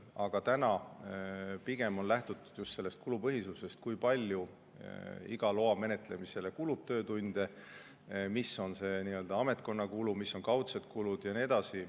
Aga praegu on lähtutud pigem kulupõhisusest ja sellest, kui palju töötunde kulub iga loa menetlemisele, mis on ametkonna kulu, mis on kaudsed kulud ja nii edasi.